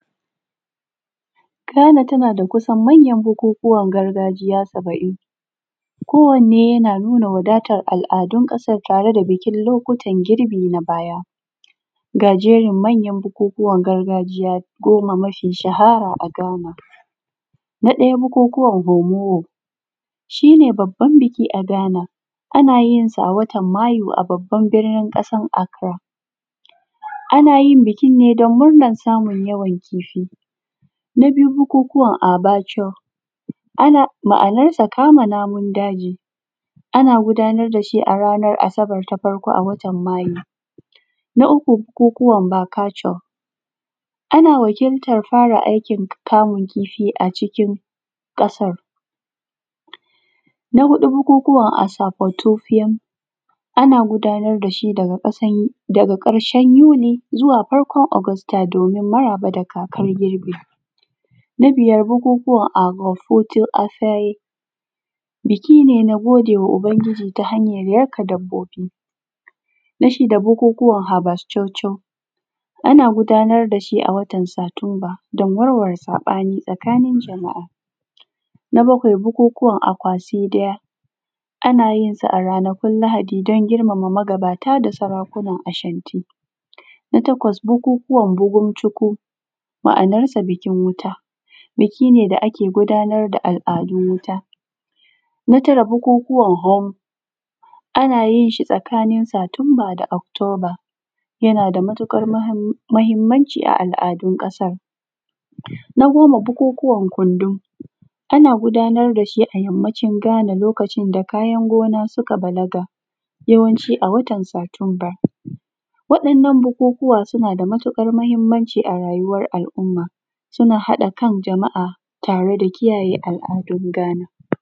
Ghana tana da kusan manyan bukukuwan gargajiya saba’in, kowanne yana nuna wadatar al’adun ƙasar tare da bikin lokutan girbi na baya. Ga jerin manyan bukukuwan gargajiya goma mafi shahara a Ghana. Na ɗaya bukukuwan homowo, shi ne babban biki a Ghana, ana yinsa a watan Mayu a babban birnin ƙasar Acra, ana yin bikin ne don murnan samun yawan kifi. Na biyu bukukuwan abaco, ma’anarsa kama namun daji, ana gudanar da shi a ranar Asabar ta farko a watan Mayu. Na uku bukukuwan bakaco, ana wakiltar fara aikin kamun kifi acikin ƙasar. Na huɗu bukukuwan asafotufiam, ana gudanar da shi daga ƙasan daga ƙarshen Yuni zuwa farkon Ogosta domin maraba da kakar girbi. Na biyar bukukuwan agafoto a faye, biki ne na gode ma Ubangiji ta hanyar yanka dabbobi. Na shida bukukuwan habaschocho, ana gudanar da shi a watan Satumba don warware saɓani tsakanin jama’a. Na bakwai bukukuwan Akwasidiya, ana yin sa a ranakun Lahadi don girmama magabata da sarakunan Ashanti. Na takwas bukukuwan bugumchikun, ma’anarsa bikin wuta, biki ne da ake gudanar da al’adun wuta. Na tara bukukuwan Hom, ana yin shi tsakanin Satumba da Oktoba, yana da matuƙar mahim mahimmanci a al’adun ƙasan. Na goma bukukuwan kundum, ana gudanar da shi a yammacin Ghana lokacin da kayan gona suka balaga, yawanci a watan Satumba. waɗannan bukukuwa suna da mayuƙar mahimmanci a rayuwar al’umma, suna haɗa kan jama’a tare da kiyaye al’adun Ghana.